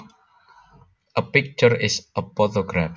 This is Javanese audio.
A picture is a photograph